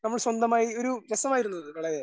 നമ്മൾ സ്വന്തമായി ഒരു രസമായിരുന്നു അത് വളരെ